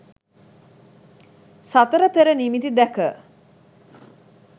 සතරපෙර නිමිති දැක